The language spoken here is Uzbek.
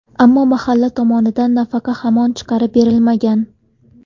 Ammo mahalla tomonidan nafaqa hamon chiqarib berilmagan.